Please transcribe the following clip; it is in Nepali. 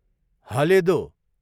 हलेदो